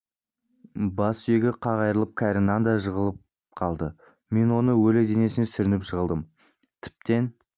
бас сүйегі қақ айрылып кәрі нан да жығылып қалды мен оның өлі денесіне сүрініп жығылдым тіптен